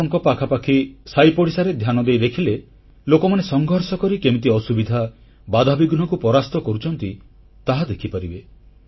ଆପଣଙ୍କ ପାଖାପାଖି ସାଇପଡ଼ିଶାରେ ଧ୍ୟାନ ଦେଇ ଦେଖିଲେ ଲୋକମାନେ ସଂଘର୍ଷ କରି କେମିତି ଅସୁବିଧା ବାଧାବିଘ୍ନକୁ ପରାସ୍ତ କରୁଛନ୍ତି ତାହା ଦେଖିପାରିବେ